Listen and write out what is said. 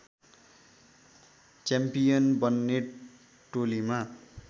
champion बन्ने टोलीमा